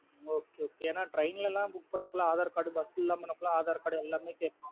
Okay okay என்னா train லாம் book பண்ண கூட aadhar cardbus லாம் பண்ண கூடா aadhar card எல்லாமே கேக்கும்.